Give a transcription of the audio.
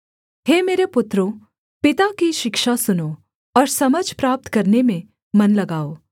हे मेरे पुत्रों पिता की शिक्षा सुनो और समझ प्राप्त करने में मन लगाओ